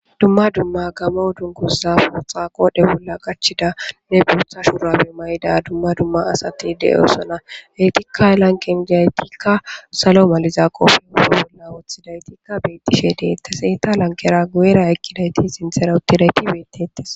dumma dumma gamo dunkuza pootxa qoodhe bolla gachidane buutha shuurabe mayda dumma dumma asati de7osona heytikka elanqenjiaytikka salo maliza qoofi ba bolla woththidaytikka beetishe deetteseta lankera guera ekkidayti sinthera uttidayti beettetes